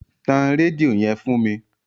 Tan rédíó yẹn fún mi.